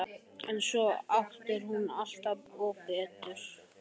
En svo áttar hún sig alltaf betur og betur.